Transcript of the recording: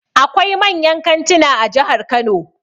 Akwai manyan kantuna a jihar Kano.